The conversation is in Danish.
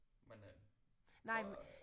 Men øh så